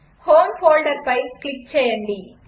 home ఫోల్డర్పై click చేయండి